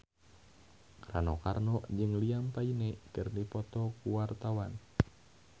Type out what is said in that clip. Rano Karno jeung Liam Payne keur dipoto ku wartawan